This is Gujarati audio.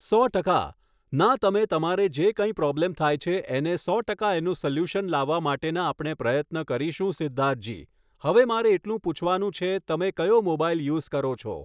સો ટકા. ના તમે તમારે જે કંઈ પ્રોબ્લેમ થાય છે એને સો ટકા એનું સૉલ્યુશન લાવવા માટેનાં આપણે પ્રયત્ન કરીશું સિદ્ધાર્થજી હવે મારે એટલું પૂછવાનું છે તમે કયો મોબાઈલ યુઝ કરો છો